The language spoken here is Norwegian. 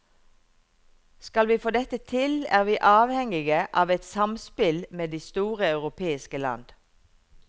Skal vi få dette til, er vi avhengige av et samspill med de store europeiske land.